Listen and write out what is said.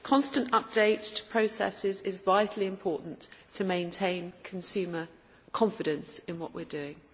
Constant update to processes is vitally important to maintain consumer confidence in what we are doing.